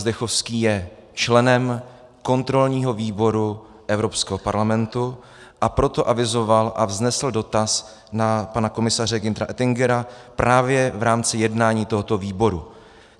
Zdechovský je členem kontrolního výboru Evropského parlamentu, a proto avizoval a vznesl dotaz na pana komisaře Günthera Oettingera právě v rámci jednání tohoto výboru.